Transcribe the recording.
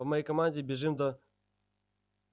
по моей команде бежим до